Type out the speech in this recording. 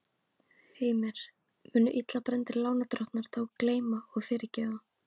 Heimir: Munu illa brenndir lánadrottnar þá gleyma og fyrirgefa?